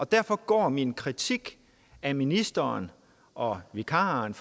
derfor går min kritik af ministeren og vikaren